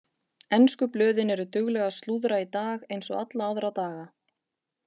Ensku blöðin eru dugleg að slúðra í dag eins og alla aðra daga.